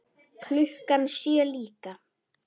Klukkan sjö líka.